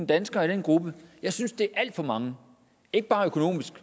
danskere i den gruppe jeg synes det er alt for mange ikke bare af økonomiske